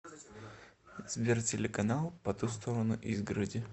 сбер телеканал по ту сторону изгороди